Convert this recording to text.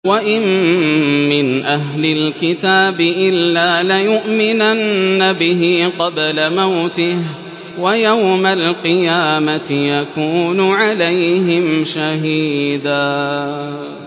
وَإِن مِّنْ أَهْلِ الْكِتَابِ إِلَّا لَيُؤْمِنَنَّ بِهِ قَبْلَ مَوْتِهِ ۖ وَيَوْمَ الْقِيَامَةِ يَكُونُ عَلَيْهِمْ شَهِيدًا